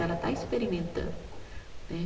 Ela está experimentando né.